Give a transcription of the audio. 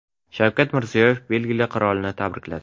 Shavkat Mirziyoyev Belgiya qirolini tabrikladi.